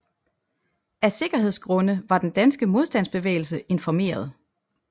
Af sikkerhedsgrunde var den danske modstandsbevægelse informeret